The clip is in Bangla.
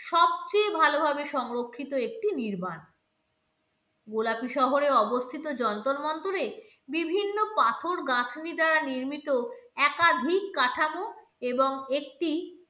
সবচেয়ে ভালোভাবে সংরক্ষিত একটি নির্মাণ গোলাপি শহরে অবস্থিত যন্তর মন্তরে বিভিন্ন পাথর গাঁথনি দ্বারা নির্মিত একাধিক কাঠামো এবং একটি